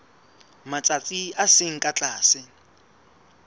matsatsi a seng ka tlase